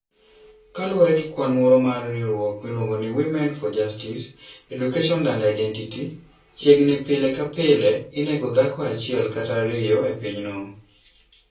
Kaluwore gi kwan moro mar riwruok miluongo ni Women for Justice, Education and Identity, chiegni ni pile ka pile, inego dhako achiel kata ariyo e pinyno.